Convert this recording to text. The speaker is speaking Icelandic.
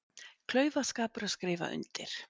Klaufaskapur að skrifa undir